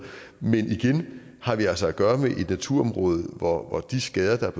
men igen har vi altså at gøre med et naturområde hvor de skader der er